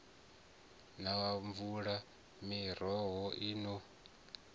na mvula miroho i no